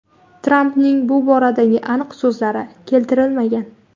Trampning bu boradagi aniq so‘zlari keltirilmagan.